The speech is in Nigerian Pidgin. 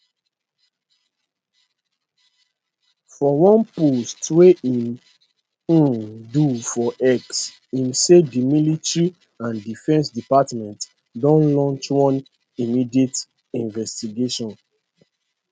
for one post wey im um do for x im say di military and defence department don launch one immediate investigation